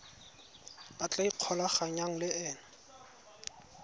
a tla ikgolaganyang le ena